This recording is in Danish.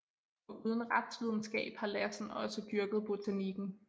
Foruden retsvidenskab har Lassen også dyrket botanikken